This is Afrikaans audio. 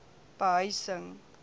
behuising